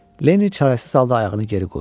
Lenniy çarasız halda ayağını geri qoydu.